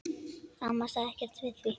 Amma sagði ekkert við því.